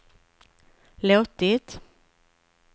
låtit